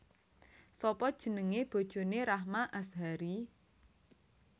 Sapa jenenge bojone Rahma Azhari